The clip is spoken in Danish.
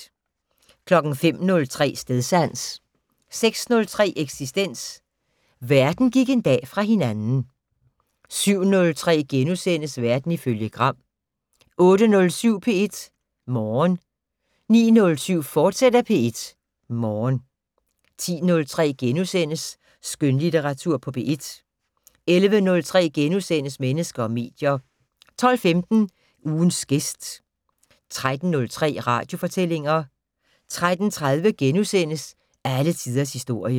05:03: Stedsans 06:03: Eksistens: Verden gik en dag fra hinanden 07:03: Verden ifølge Gram * 08:07: P1 Morgen 09:07: P1 Morgen, fortsat 10:03: Skønlitteratur på P1 * 11:03: Mennesker og medier * 12:15: Ugens gæst 13:03: Radiofortællinger 13:30: Alle tiders historie *